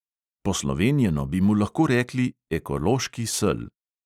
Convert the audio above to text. Poslovenjeno bi mu lahko rekli "ekološki sel".